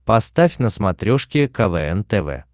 поставь на смотрешке квн тв